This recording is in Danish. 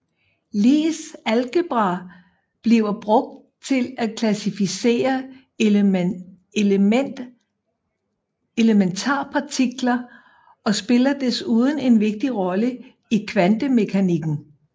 Lies algebra bliver brugt til at klassificere elementarpartikler og spiller desuden en vigtig rolle i kvantemekanikken